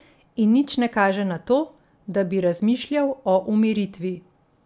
In nič ne kaže na to, da bi razmišljal o umiritvi.